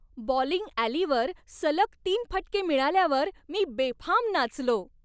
Bowling ॲलीवर सलग तीन फटके मिळाल्यावर मी बेफाम नाचलो.